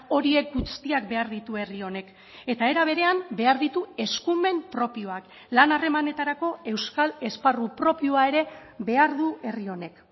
horiek guztiak behar ditu herri honek eta era berean behar ditu eskumen propioak lan harremanetarako euskal esparru propioa ere behar du herri honek